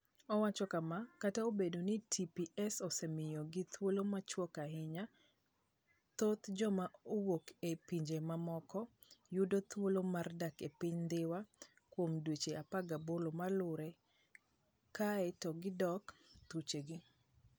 Owacho kama, "Kata obedo ni TPS osemiyogi thuolo machuok ahinya, thoth joma owuok e pinje maoko yudo thuolo mar dak e piny Dhiwa kuom dweche 18 maluwore, kae to gidok thuchegi".